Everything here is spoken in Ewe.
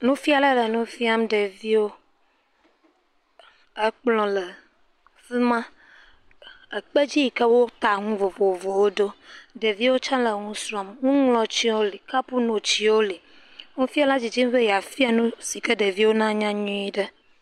Nufiala le nu fiam ɖeviwo, ekplɔ̃ le fima, ekpe dzi yi ke wo ta ŋu vovovowo ɖo, ɖeviwo tse le ŋu srɔm, ŋu ŋlɔtsi wo le, kapuno tsiwo le, nufiala dzidzim be ya fia nu, si ke ɖeviwo na nya nyuie ɖe.